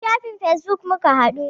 A shafin fesbuk muka haɗu.